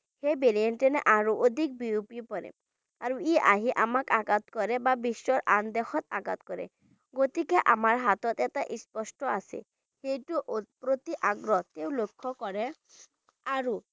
এই variant আৰু অধিক বিয়পি পৰে আৰু ই আহি আমাক আঘাত কৰে বা বিশ্বৰ আনদেশত আঘাত কৰে গতিকে আমাৰ হাতত এটা স্পষ্ট আছে সেইটো লক্ষ্য কৰে আৰু